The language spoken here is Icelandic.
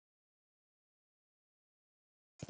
Þín Þórdís.